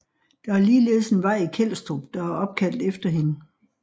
Der er ligeledes en vej i Kelstrup der er opkaldt efter hende